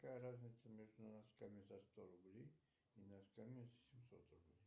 какая разница между носками за сто рублей и носками за семьсот рублей